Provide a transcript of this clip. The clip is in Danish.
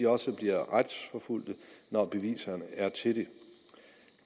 også bliver retsforfulgt når beviserne er til det